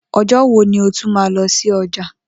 O̩jó̩ wo ni o tún máa lo̩ sí o̩jà?